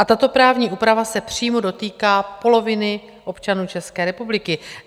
A tato právní úprava se přímo dotýká poloviny občanů České republiky.